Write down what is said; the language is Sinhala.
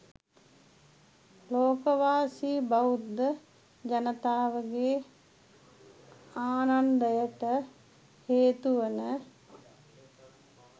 ලෝකවාසී බෞද්ධ ජනතාවගේ ආනන්දයට හේතුවන